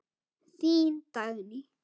Þín Dagný.